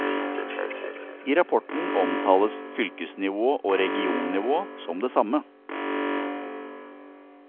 I rapporten omtales fylkesnivå og regionnivå som det samme.